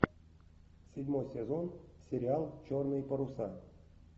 седьмой сезон сериал черные паруса